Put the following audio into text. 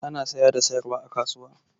Ana saya da sayarwa a kasuwa.